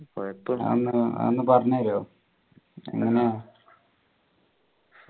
അതൊന്നു അതൊന്നു പറഞ്ഞു തരുമോ എങ്ങനെയാ